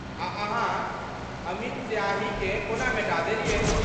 आ अहाँ अमिट स्याहीकेँ कोना मेटा देलियै?